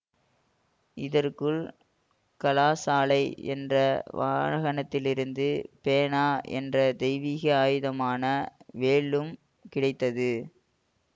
இதற்குள் கலாசாலை என்ற வானகத்திலிருந்து பேனா என்ற தெய்வீக ஆயுதமான வேலும் கிடைத்தது